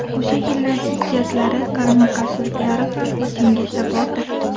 O‘sha yillar ziddiyatlari, qarama-qarshiliklari ham esingizda bordir.